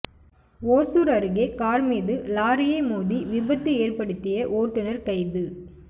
ஒசூா் அருகே காா் மீது லாரியை மோதி விபத்து ஏற்படுத்திய ஓட்டுநா் கைது